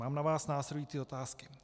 Mám na vás následující otázky.